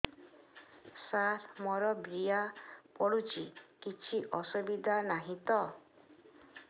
ସାର ମୋର ବୀର୍ଯ୍ୟ ପଡୁଛି କିଛି ଅସୁବିଧା ନାହିଁ ତ